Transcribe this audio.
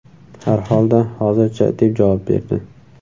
Har holda, hozircha”, deb javob berdi.